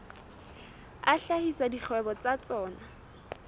a hlahisa dikgwebo tsa tsona